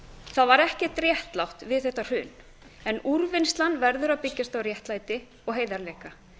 það var ekkert réttlátt við þetta hrun en úrvinnslan verður að byggjast á réttlæti og heiðarleika